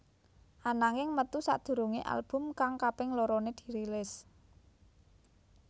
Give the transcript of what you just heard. Ananging metu sadurungé album kang kaping loroné dirilis